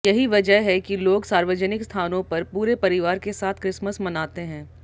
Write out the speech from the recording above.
यही वजह है कि लोग सार्वजनिक स्थानों पर पूरे परिवार के साथ क्रिसमस मनाते हैं